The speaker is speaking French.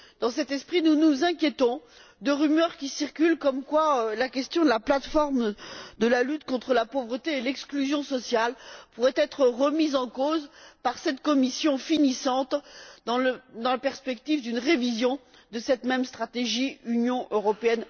Dans cet esprit, nous nous inquiétons de rumeurs qui circulent, selon lesquelles la question de la plate forme de la lutte contre la pauvreté et l'exclusion sociale pourrait être remise en cause par cette Commission finissante dans la perspective d'une révision de cette même stratégie Europe